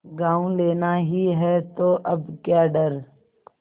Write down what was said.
गॉँव लेना ही है तो अब क्या डर